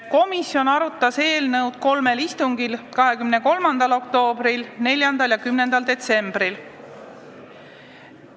Komisjon arutas eelnõu kolmel istungil: 23. oktoobril, 4. ja 10. detsembril.